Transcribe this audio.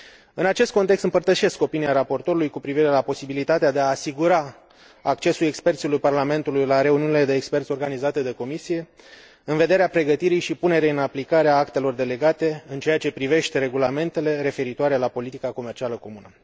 În acest context, împărtășesc opinia raportorului cu privire la posibilitatea de a asigura accesul experților Parlamentului la reuniunile de experți organizate de Comisie, în vederea pregătirii și punerii în aplicare a actelor delegate în ceea ce privește regulamentele referitoare la politica comercială comună.